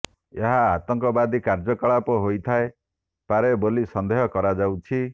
ଏହା ଆତଙ୍କବାଦୀ କାର୍ଯ୍ୟକଳାପ ହୋଇଥାଏ ପାରେ ବୋଲି ସନ୍ଦେହ କରାଯାଉଛି